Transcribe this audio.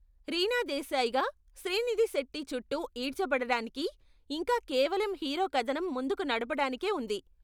రీనా దేశాయ్గా శ్రీనిధి శెట్టీ చుట్టూ ఈడ్చబడడానికి, ఇంకా కేవలం హీరో కధనం ముందుకు నడపడానికే ఉంది.